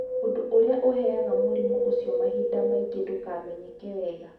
Ũndũ ũrĩa ũrehaga mũrimũ ũcio mahinda maingĩ ndũmenyekaga wega.